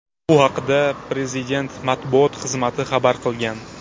Bu haqda Prezident matbuot xizmati xabar qilgan .